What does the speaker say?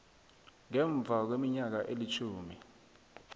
ngemva kweminyaka elitjhumi